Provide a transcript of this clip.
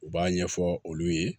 U b'a ɲɛfɔ olu ye